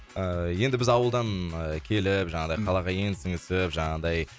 ыыы енді біз ауылдан ы келіп жаңағыдай қалаға енді сіңісіп жаңағындай